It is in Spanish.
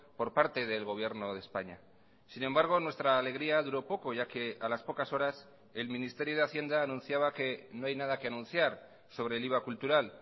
por parte del gobierno de españa sin embargo nuestra alegría duró poco ya que a las pocas horas el ministerio de hacienda anunciaba que no hay nada que anunciar sobre el iva cultural